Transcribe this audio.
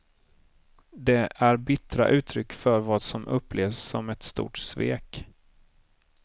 Det är bittra uttryck för vad som upplevs som ett stort svek.